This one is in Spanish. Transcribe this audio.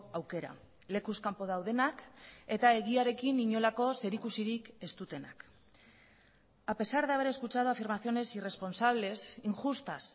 aukera lekuz kanpo daudenak eta egiarekin inolako zerikusirik ez dutenak a pesar de haber escuchado afirmaciones irresponsables injustas